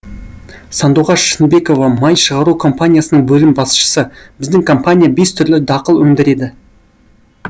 сандуғаш шынбекова май шығару компаниясының бөлім басшысы біздің компания бес түрлі дақыл өндіреді